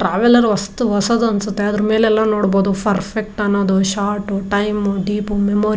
traveller ಅಷ್ಟ್ ಹೊಸದು ಅನ್ಸುತ್ತೆ ಅದ್ರ್ ಮೇಲೆಲ್ಲಾ ನೋಡ್ಬಹುದು ಪರ್ಫೆಕ್ಟ್ ಅನ್ನೋದು ಶಾರ್ಟ್ ಟೈಮು ಡೀಪು ಮೆಮೊರಿ --